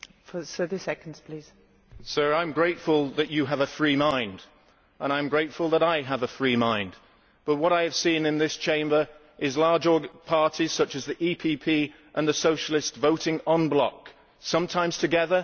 Sir, I am grateful that you have a free mind and I am grateful that I have a free mind, but what I have seen in this Chamber is large parties, such as the PPE and the Socialists, voting en bloc, sometimes together but always en bloc.